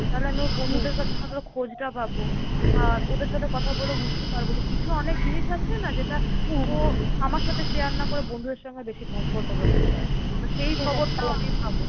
তাহলে আমি ওর বন্ধুদের কাছ থেকে অন্তত খোঁজটা পাবো। আর ওদের সাথে কথা বলে বুঝতে পারবো যে, কিছু অনেক জিনিস আছে না? যেটা ও আমার সাথে share না করে বন্ধুদের সঙ্গে বেশি comfortable হয় share করতে। তো সেই খবরটাও আমি পাবো।